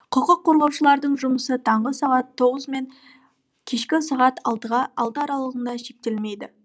құқық қорғаушылардың жұмысы таңғы сағат тоғыз мен кешкі сағат алты аралығымен шектелмейді